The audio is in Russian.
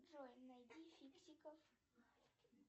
джой найди фиксиков